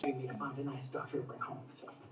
En hann fylgist með henni.